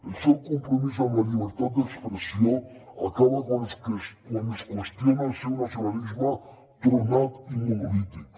el seu compromís amb la llibertat d’expressió acaba quan es qüestiona el seu nacionalisme tronat i monolític